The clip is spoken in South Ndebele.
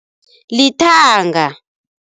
Lithanga.